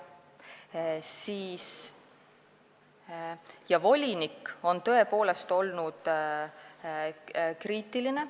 Volinik on tõepoolest olnud kriitiline.